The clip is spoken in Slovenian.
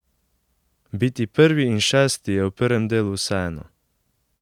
Biti prvi in šesti je v prvem delu vseeno.